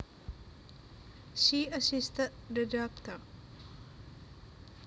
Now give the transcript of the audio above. She assisted the doctor